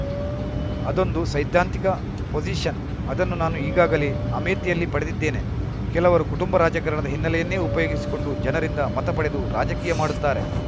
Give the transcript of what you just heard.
ಅದೊಂದು ಸೈದ್ಧಾಂತಿಕ ಪೊಸಿಶನ್‌ ಅದನ್ನು ನಾನು ಈಗಾಗಲೇ ಅಮೇಥಿಯಲ್ಲಿ ಪಡೆದಿದ್ದೇನೆ ಕೆಲವರು ಕುಟುಂಬ ರಾಜಕಾರಣದ ಹಿನ್ನೆಲೆಯನ್ನೇ ಉಪಯೋಗಿಸಿಕೊಂಡು ಜನರಿಂದ ಮತ ಪಡೆದು ರಾಜಕೀಯ ಮಾಡುತ್ತಾರೆ